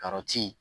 Karɔti